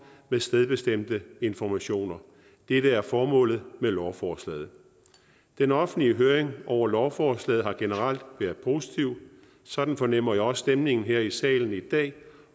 med stedbestemte informationer dette er formålet med lovforslaget den offentlige høring over lovforslaget har generelt været positiv sådan fornemmer jeg også stemningen her i salen i dag